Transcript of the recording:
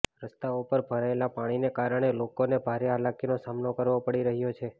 રસ્તાઓ પર ભરાયેલા પાણીને કારણે લોકોને ભારે હાલાકીનો સામનો કરવો પડી રહ્યો છે